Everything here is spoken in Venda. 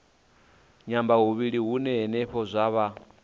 nyambahuvhili hune henefho zwa vha